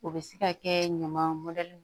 O bɛ se ka kɛ ɲaman mɔtɛri